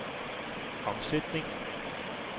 omsætning